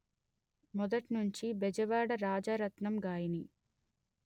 మొదట్నుంచీ బెజవాడ రాజరత్నం గాయని